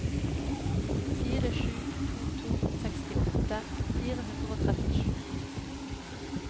fire sju to to sekstiåtte fire hundre og trettisju